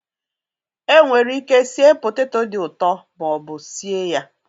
Enwere ike sie poteto dị ụtọ ma ọ bụ sie ya